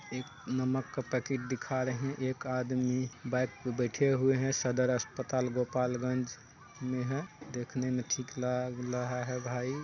एक नमक का पैकेट दिखा रहै। एक आदमी बाइक पे बैठे हुए है। सदर अस्पताल गोपालगंज में है। देखने मे ठीक लाग लहा है भाई।